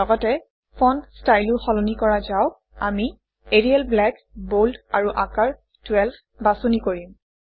লগতে ফণ্ট ষ্টাইলো সলনি কৰা যাওক আমি এৰিয়েল ব্লেক বোল্ড আৰু আকাৰ 12 বাছনি কৰিম